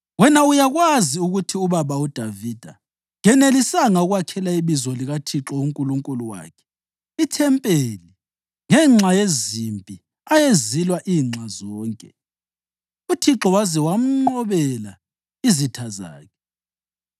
“Wena uyakwazi ukuthi ubaba uDavida kenelisanga ukwakhela iBizo likaThixo uNkulunkulu wakhe ithempeli ngenxa yezimpi ayezilwa inxa zonke, uThixo waze wamnqobela izitha zakhe.